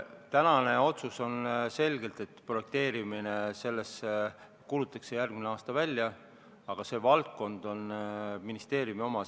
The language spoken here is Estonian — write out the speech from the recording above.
Tänane otsus on selgelt see, et projekteerimine kuulutatakse järgmine aasta välja, aga see on ministeeriumi valdkond.